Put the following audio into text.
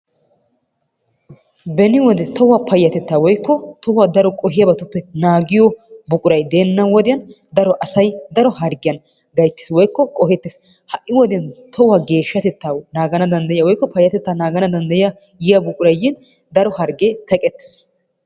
Beni wode tohuwa payyatetta woykko tohuwa duma qohiyabatuppe naaggiyo buquray deena wodiyaan daro asay daro harggiyan gayttees woykko qohettees. ha'i wodiyaan tohuwa geeshshatetta naagana danddyiyaa woykko payyatettaa naagagna danddayiya yiyya buquray yiin daro hargge teqqetiis.